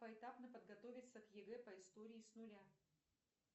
поэтапно подготовиться к егэ по истории с нуля